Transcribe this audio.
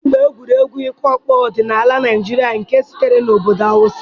dambe egwuregwu ịkụ ọkpọ ọdịnala Naịjirịa nke sitere na obodo Hausa.